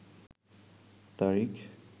তারিখ